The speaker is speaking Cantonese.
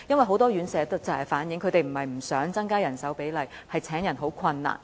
很多院舍反映，它們不是不想增加人手比例，而是難於請人。